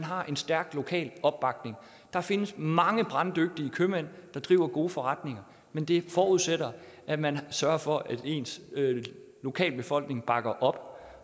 har en stærk lokal opbakning der findes mange branddygtige købmænd der driver gode forretninger men det forudsætter at man sørger for at ens lokalbefolkning bakker op